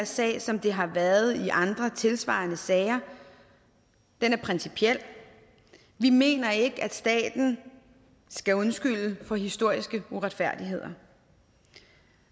sag som den har været i andre tilsvarende sager den er principiel vi mener ikke at staten skal undskylde for historiske uretfærdigheder